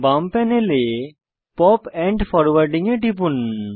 বাম প্যানেলে POP and forwarding এ টিপুন